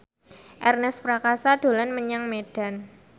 Ernest Prakasa dolan menyang Medan